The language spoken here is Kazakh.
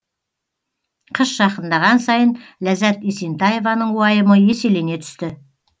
қыс жақындаған сайын ләззат есентаеваның уайымы еселене түсті